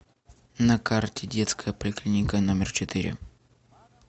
на карте детская поликлиника номер четыре